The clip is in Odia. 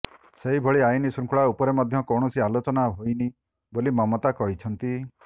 ସେହିଭଳି ଆଇନ ଶୃଙ୍ଖଳା ଉପରେ ମଧ୍ୟ କୌଣସି ଆଲୋଚନା ହୋଇନି ବୋଲି ମମତା କହିଛନ୍ତି